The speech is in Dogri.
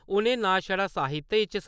उ'नें ना छड़ा साहित्य च